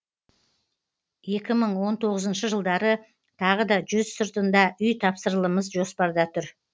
екі мың он тоғызыншы жылдары тағы да жүз сыртында үй тапсырылымыз жоспарда тұр